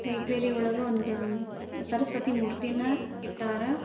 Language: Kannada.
ಲೈಬ್ರರಿ ಒಂದ ಸರಸ್ವತಿ ಮೂರ್ತಿ ನ ಇಟ್ಟರ --